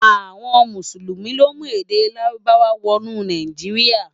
Awòn Músúlúmi lo mú èdè Lárúbáwá wò nú Náijiriá